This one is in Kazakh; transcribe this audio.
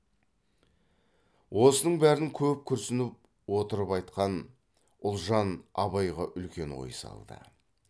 осының бәрін көп күрсініп отырып айтқан ұлжан абайға үлкен ой салды